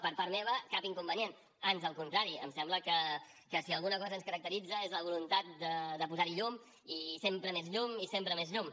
per part meva cap inconvenient ans al contrari em sembla que si alguna cosa ens caracteritza és la voluntat de posar hi llum i sempre més llum i sempre més llum